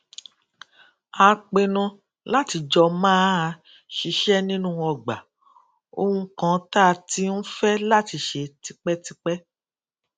a pinnu láti jọ máa ṣiṣé nínú ọgbà ohun kan tá a ti ń fé láti ṣe tipétipé